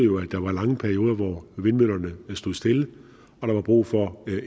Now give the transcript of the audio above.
der var lange perioder hvor vindmøllerne stod stille og der var brug for